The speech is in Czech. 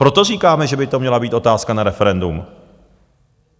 Proto říkáme, že by to měla být otázka na referendum.